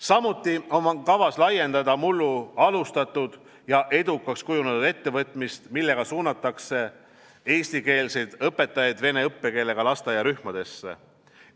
Samuti on kavas laiendada mullu alustatud ja edukaks kujunenud ettevõtmist, millega suunatakse eestikeelseid õpetajaid vene õppekeelega lasteaiarühmadesse.